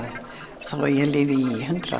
ég lifi í hundrað